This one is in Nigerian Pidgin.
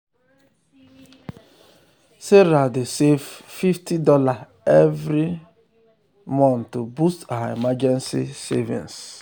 sarah dey save fifty dollarsevery save fifty dollarsevery month to boost her emergency savings.